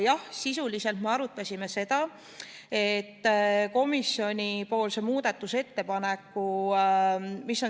Jah, sisuliselt me arutasime seda, mis on komisjoni muudatusettepaneku eesmärk.